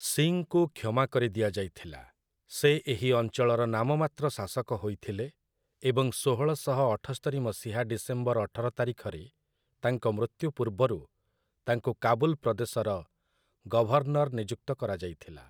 ସିଂଙ୍କୁ କ୍ଷମା କରି ଦିଆଯାଇଥିଲା, ସେ ଏହି ଅଂଚଳର ନାମମାତ୍ର ଶାସକ ହୋଇଥିଲେ ଏବଂ ଶୋହଳ ଶହ ଅଠସ୍ତରି ମସିହା ଡିସେମ୍ବର ଅଠର ତାରିଖରେ ତାଙ୍କ ମୃତ୍ୟୁ ପୂର୍ବରୁ ତାଙ୍କୁ କାବୁଲ୍ ପ୍ରଦେଶର ଗଭର୍ଣ୍ଣର ନିଯୁକ୍ତ କରାଯାଇଥିଲା ।